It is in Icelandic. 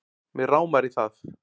Mig rámar í það